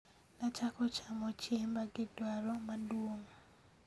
nachako chamo chiemba gi dwaro maduong'